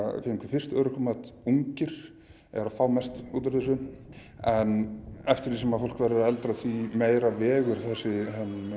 fengu fyrst örorkumat ungir eru að fá mest út úr þessu en eftir því sem fólk verður eldra því meira vegur þessi